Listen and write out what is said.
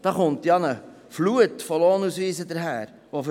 Dabei kommt eine Flut von Lohnausweisen auf uns zu.